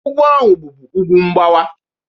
Ugwu ahụ bụbu ugwu mgbawa.